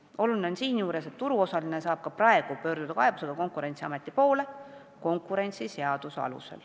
Oluline on seejuures, et turuosaline saab ka praegu konkurentsiseaduse alusel kaebusega Konkurentsiameti poole pöörduda.